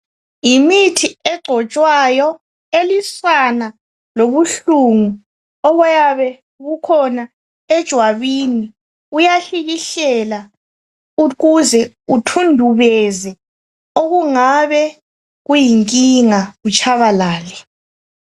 Yimithi egcotshwayo elwisana lobuhlungu obuyabe bukhona ejwabini ukuze kuthundubeze okungabe kuyinkinga kutshabalale.